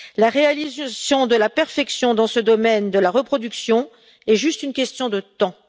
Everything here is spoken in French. La réalisation de la perfection dans le domaine de la reproduction est juste une question de temps.